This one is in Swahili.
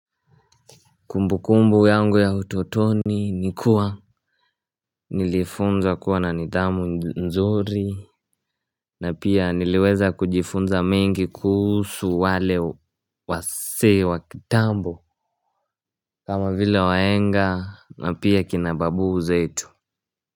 Kumbu kumbu yangu ya utotoni nikuwa nilifunza kuwa na nithamu nzuri. Na pia niliweza kujifunza mengi kuhusu wale wasee wakitambo. Kama vila wahenga na pia kinababu zetu.